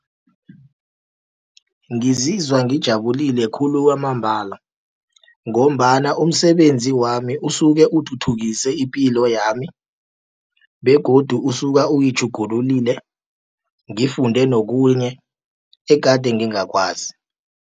Ngizizwa ngijabulile khulu kwamambala, ngombana umsebenzi wami usuke uthuthukise ipilo yami begodu usuka uyitjhugululile, ngifunde nokunye egade ngingakwazi.